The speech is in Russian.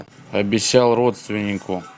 обещал родственнику